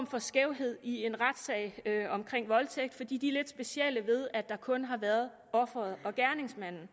for skævhed i en retssag om voldtægt for de er lidt specielle ved at der kun har været offeret og gerningsmanden